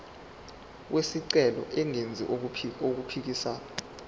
wesicelo engenzi okuphikisana